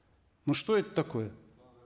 ну что это такое